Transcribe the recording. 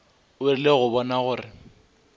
o rile go bona gore